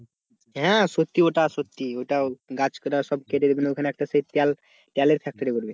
হ্যাঁ ওটা সত্যি ওটা সত্যি ওটা গাছ কাটা গাছ কেটে ওটা সেই তেল তেলের factory করবে।